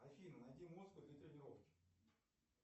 афина найди музыку для тренировки